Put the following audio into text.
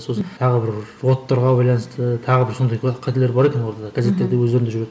сосын тағы бір байланысты тағы бір сондай қателер бар екен оларда газеттерде өздерінде жүретін